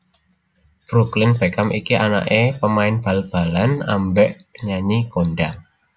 Brooklyn Beckham iki anak e pemain bal balan ambek penyanyi kondang